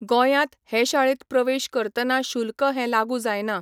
गोंयांत हें शाळेंत प्रवेश करतना शुल्क हें लागू जायना.